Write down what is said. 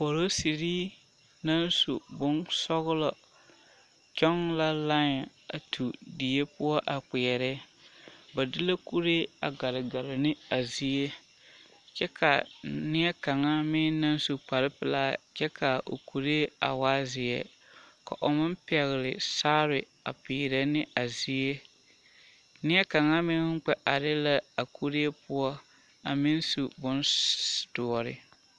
Polosiri naŋ naŋ su bonsɔgelɔ kyɔŋ la lãɛ a tu die poɔ a kpeɛrɛ, ba de la kuree a gare gare ne a zie kyɛ ka neɛ kaŋa meŋ naŋ su kpare pelaa kyɛ k'a o kuree a waa zeɛ ka o pɛgele saare a peerɛ ne a zie, neɛ kaŋa meŋ kpɛ are la a kuree poɔ a meŋ su bondoɔre.